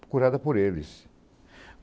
Procurada por eles.